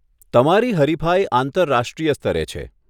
તમારી હરિફાઈ આંતરરાષ્ટ્રીય સ્તરે છે.